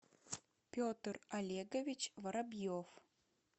петр олегович воробьев